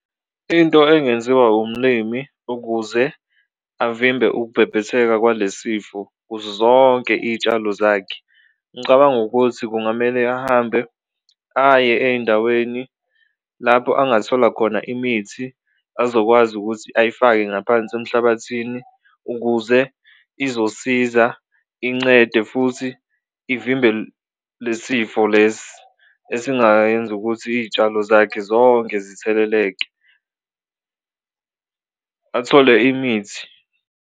Into engenziwa umlimi ukuze avimbe ukubhebhetheka kwale sifo kuzo zonke iy'tshalo zakhe ngicabanga ukuthi kungamele ahambe aye ey'ndaweni lapho angathola khona imithi azokwazi ukuthi ayifake ngaphansi emhlabathini ukuze izosiza incede futhi ivimbe le sifo lesi esingayenza ukuthi izitshalo zakhe zonke zitheleleke, athole imithi.